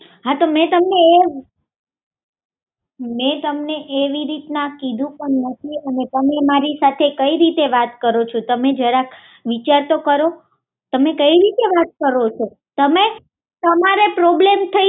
હા તો મે તમને એવી રીતના કીધું નથી તમે મારી સાથે કંઈ રીતે વાત કરો છો તમે જરાક વિચાર તો કરો તમે કંઈ રીતે વાત કરો છો